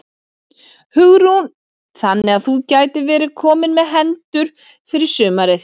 Hugrún: Þannig að þú gætir verið kominn með hendur fyrir sumarið?